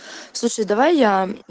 слушай давай я